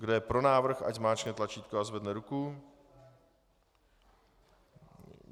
Kdo je pro návrh, ať zmáčkne tlačítko a zvedne ruku.